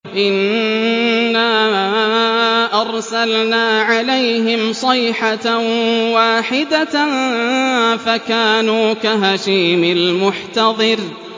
إِنَّا أَرْسَلْنَا عَلَيْهِمْ صَيْحَةً وَاحِدَةً فَكَانُوا كَهَشِيمِ الْمُحْتَظِرِ